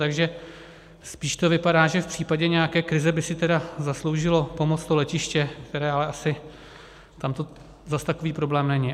Takže spíš to vypadá, že v případě nějaké krize by si tedy zasloužilo pomoc to letiště, které ale asi, tam to zase takový problém není.